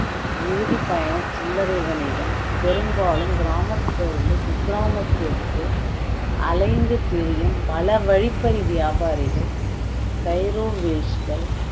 இறுதி பயணம் சில்லரை வணிகம் பெரும்பாலும் கிராமத்தில் இருந்து குக்கிராமத்திற்கு அலைந்து திரியும் பல வழிப்பறி வியாபாரிகள் கைரோவேஜ்கள்